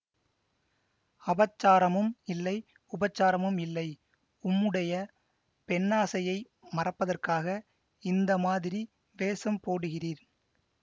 அபச்சாரமும் இல்லை உபச்சாரமும் இல்லை உம்முடைய பெண்ணாசையை மறைப்பதற்காக இந்த மாதிரி வேஷம் போடுகிறீர்